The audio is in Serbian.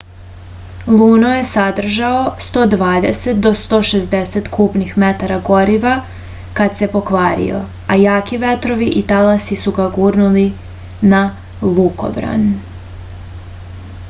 luno je sadržao 120-160 kubnih metara goriva kad se pokvario a jaki vetrovi i talasi su ga gurnuli na lukobran